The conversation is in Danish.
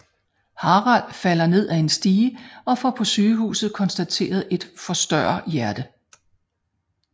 Harald falder ned af en stige og får på sygehuset konstateret et forstørre hjerte